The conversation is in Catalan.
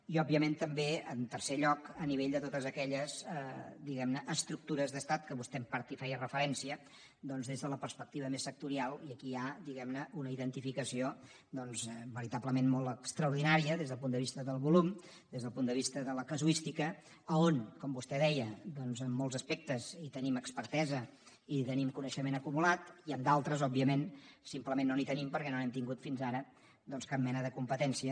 i òbviament també en tercer lloc a nivell de totes aquelles diguem ne estructures d’estat que vostè en part hi feia referència doncs des de la perspectiva més sectorial i aquí hi ha diguem ne una identificació veritablement molt extraordinària des del punt de vista del volum des del punt de vista de la casuística a on com vostè deia doncs en molts aspectes tenim expertesa i tenim coneixement acumulat i en d’altres òbviament simplement no n’hi tenim perquè no n’hem tingut fins ara cap mena de competència